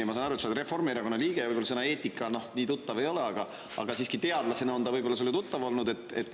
Ja ma saan aru, et sa oled Reformierakonna liige, võib-olla sõna "eetika" sulle nii tuttav ei ole, aga siiski, teadlasena oled sellega ehk tuttav olnud.